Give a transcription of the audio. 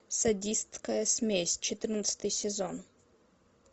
садистская смесь четырнадцатый сезон